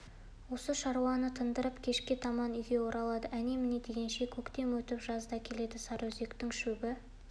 осы шаруаны тындырып кешке таман үйге оралды әне-міне дегенше көктем өтіп жаз да келді сарыөзектің шөбі